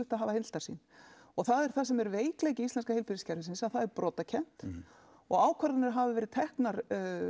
að hafa heildarsýn og það er það sem er veikleiki íslenska heilbrigðiskerfisins að það er brotakennt og ákvarðanir hafa verið teknar